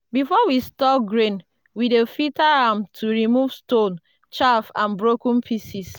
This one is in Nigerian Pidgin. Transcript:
before we store grain we dey filter am to remove stone chaff and broken pieces.